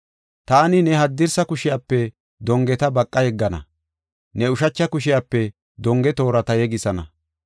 Taani ne haddirsa kushiyape dongeta baqa yeggana, ne ushacha kushiyape donge toorata yegisana.